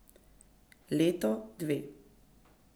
Leto, dve.